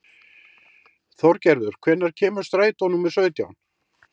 Þorgerður, hvenær kemur strætó númer sautján?